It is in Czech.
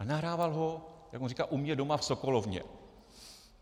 Ale nahrával ho, jak on říká, u mě doma v sokolovně.